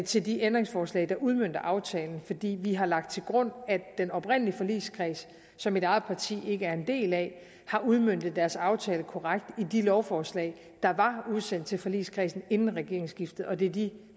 til de ændringsforslag der udmønter aftalen fordi vi har lagt til grund at den oprindelige forligskreds som mit eget parti ikke er en del af har udmøntet deres aftale korrekt i de lovforslag der var udsendt til forligskredsen inden regeringsskiftet og det er de